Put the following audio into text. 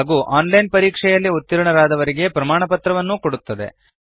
ಹಾಗೂ online ಪರೀಕ್ಷೆಯಲ್ಲಿ ಉತ್ತೀರ್ಣರಾದವರಿಗೆ ಪ್ರಮಾಣಪತ್ರವನ್ನು ಕೊಡುತ್ತದೆ